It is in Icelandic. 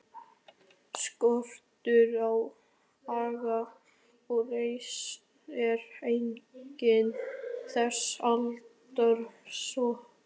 Skortur á aga og reisn er einkenni þessa aldurshóps.